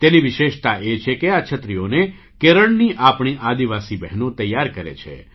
તેની વિશેષતા એ છે કે આ છત્રીઓને કેરળની આપણી આદિવાસી બહેનો તૈયાર કરે છે